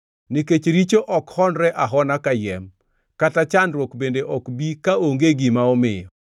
Nikech richo ok honre ahona kayiem, kata chandruok bende ok bi kaonge gima omiyo.